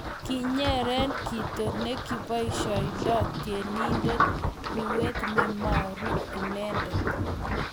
kinyere kito ne kiboisiondoi tyenindet ruet ne maru inendet